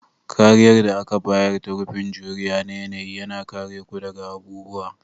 Kariyar da aka bayar ta rufin juriya na yanayi, yana kare ku daga abubuwa